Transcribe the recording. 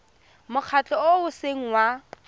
mokgatlho o o seng wa